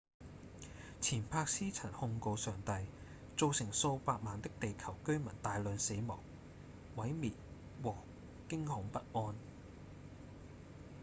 錢伯斯曾控告上帝「造成數百萬的地球居民大量死亡、毀滅和驚恐不安」